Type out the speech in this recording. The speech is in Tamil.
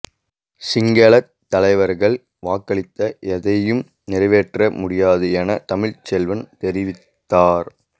சிங்களத் தலைவர்களால் வாக்களித்த எதனையும் நிறைவேற்ற முடியாது என தமிழ்ச்செல்வன் தெரிவித்தார்